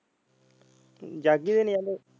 ਆਂਦੇ।